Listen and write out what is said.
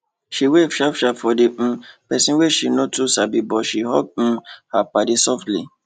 she wave sharp sharp for the um pesin wey she no too sabi but she hug um her paddy softly